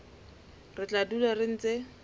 re tla dula re ntse